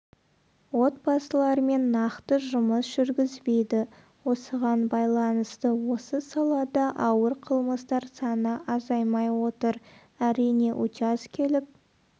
отбасылармен нақты жұмыс жүргізбейді осыған байланысты осы салада ауыр қылмыстар саны азаймай отыр әрине учаскелік